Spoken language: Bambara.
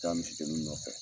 taa misi deni nɔfɛ.